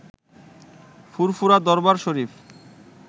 ফুরফুরা Darbar শরীফ